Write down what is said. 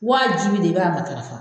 Wajibi de b'a matarafa